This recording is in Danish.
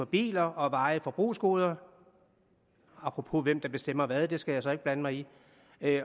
biler og varige forbrugsgoder apropos hvem der bestemmer hvad det skal jeg så ikke blande mig i